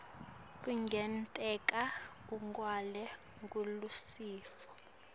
kungenteka ungenwe ngulesifo